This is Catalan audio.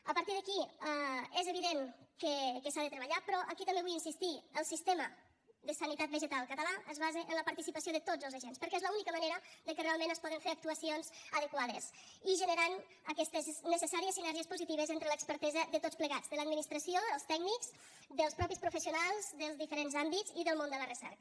a partir d’aquí és evident que s’ha de treballar però aquí també vull insistir hi el sistema de sanitat vegetal català es basa en la participació de tots els agents perquè és l’única manera que realment es poden fer actuacions adequades i generant aquestes necessàries sinergies positives entre l’expertesa de tots plegats de l’administració els tècnics dels mateixos professionals dels diferents àmbits i del món de la recerca